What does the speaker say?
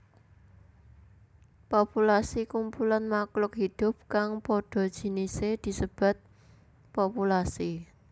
Populasi Kumpulan makhluk hidup kang padha jinise disebat populasi